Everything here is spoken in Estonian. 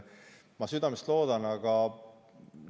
Ma südamest loodan, et.